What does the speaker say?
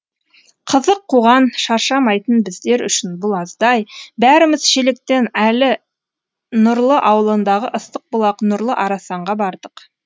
қызық қуған шаршамайтын біздер үшін бұл аздай бәріміз шелектен әрі нұрлы ауылындағы ыстық бұлақ нұрлы арасанға бардық